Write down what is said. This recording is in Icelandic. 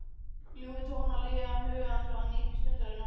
Ljúfir tónar líða um huga hans og hann nýtur stundarinnar.